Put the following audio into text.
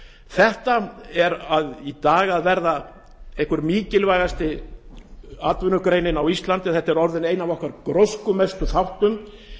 þetta er í dag að verða einhver mikilvægasta atvinnugreinin á íslandi þetta er orðinn einn af gróskumestu þáttunum